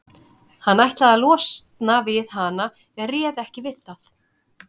Hann ætlaði að losna við hana en réð ekki við það.